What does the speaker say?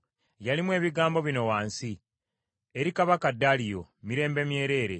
yalimu ebigambo bino wansi. Eri Kabaka Daliyo, Mirembe myereere.